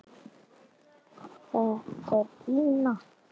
Þetta er Gína!